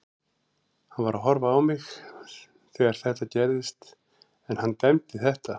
Hann var að horfa á mig þegar þetta gerðist en hann dæmdi þetta.